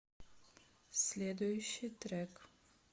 следующий трек